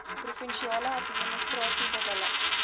provinsiale administrasie bewillig